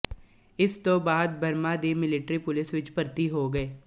ਇਸ ਤੋਂ ਬਾਅਦ ਬਰਮਾ ਦੀ ਮਿਲਟਰੀ ਪੁਲਿਸ ਵਿੱਚ ਭਰਤੀ ਹੋ ਗਏ